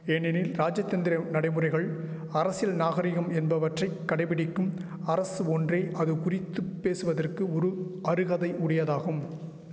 ஏனெனில் ராஜதந்திர நடைமுறைகள் அரசியல் நாகரிகம் என்பவற்றை கடைபிடிக்கும் அரசு ஒன்றே அது குறித்து பேசுவதற்கு ஒரு அருகதை உடியதாகும்